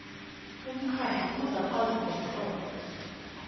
umkhandlu uzakwazisa ngomtlolo